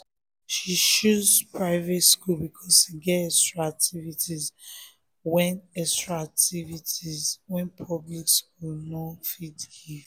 she um choose private school because e get extra activities wey extra activities wey public school no fit give